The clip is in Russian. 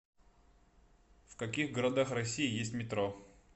в каких городах россии есть метро